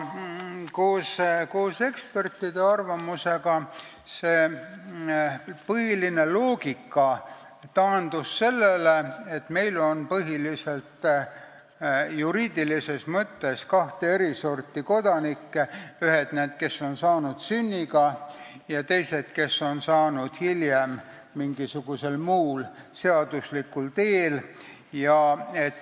Koos ekspertide arvamusega taandus põhiline loogika sellele, et meil on juriidilises mõttes põhiliselt kahte sorti kodanikke: ühed, kes on saanud kodakondsuse sünniga, ja teised, kes on selle saanud hiljem mingisugusel muul seaduslikul teel.